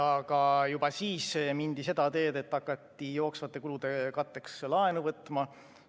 Aga juba siis mindi seda teed, et hakati jooksvate kulude katteks laenu võtma.